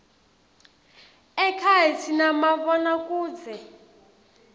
ekhaya sinamabonakudze